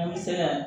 An bɛ se ka